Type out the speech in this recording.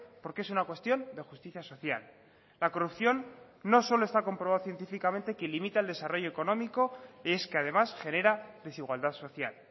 porque es una cuestión de justicia social la corrupción no solo está comprobado científicamente que limita el desarrollo económico es que además genera desigualdad social